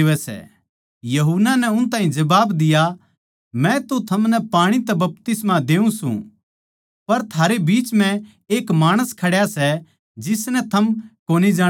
यूहन्ना नै उन ताहीं जबाब दिया मै तो थमनै पाणी तै बपतिस्मा देऊँ सूं पर थारै बीच म्ह एक माणस खड्या सै जिसनै थम कोनी जाणदे